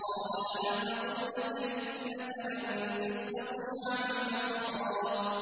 ۞ قَالَ أَلَمْ أَقُل لَّكَ إِنَّكَ لَن تَسْتَطِيعَ مَعِيَ صَبْرًا